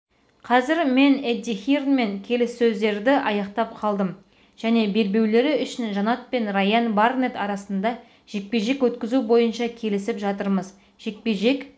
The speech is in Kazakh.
қазір мен эдди хирнмен келіссөздерді аяқтап қалдым және белбеулері үшін жанат пен райан барнетт арасында жекпе-жек өткізу бойынша келісіп жатырмыз жекпе-жек